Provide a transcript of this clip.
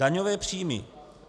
Daňové příjmy.